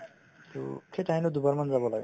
to সেই ঠাইখনত দুবাৰমান যাব লাগে